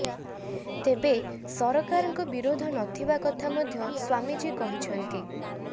ତେବେ ସରକାରଙ୍କ ବିରୋଧ ନଥିବା କଥା ମଧ୍ୟ ମ୍ବାମୀଜୀ କହିଛନ୍ତି